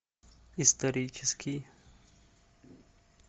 исторический